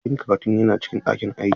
Abokin karatuna yana cikin ɗakin aiki.